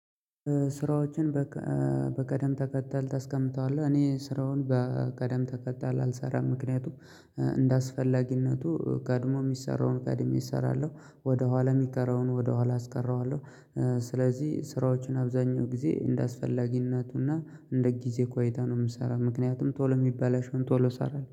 ስራዎችን? በቅደም ተከተል ታስቀምጠዋለህ እኔ ስራውን በቅደም ተከተል አልሰራም። ምክንያቱም እንደ አስፈላጊነቱ ቀድሞ የሚሰራውን ቀድሜ እሰራለሁ ወደ ኋላ የሚቀረውን ወደ ኋላ አስቀረዋለሁ። ስለዚህ ስራዎችን አብዛኛው ጊዜ እንደ አስፈላጊነቱና እንደ ጊዜ ቆይታ ነው የምሰራው። ምክንያቱም ቶሎ የሚባላሸ ቶሎ ሰራለሁ